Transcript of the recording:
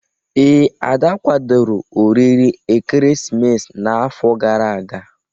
Ee, Ada kwadoro oriri ekeresimesi n'afọ gara aga.